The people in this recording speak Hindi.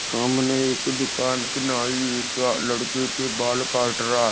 सामने एक दुकान के न्हाई लड़के के बाल काट रहा--